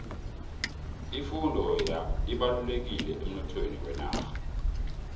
ifundo ibalulekile emnothweni wenarha